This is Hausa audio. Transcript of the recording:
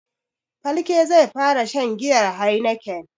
Falke zai fara shan giyan heineken.